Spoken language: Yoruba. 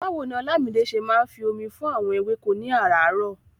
Báwo ni Olamide ṣe máa ń fi omi fún àwọn ewéko ní aràárọ̀?